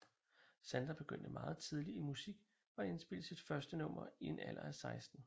Sandra begyndte meget tidligt i musik og indspillede sit første nummer i en alder af 16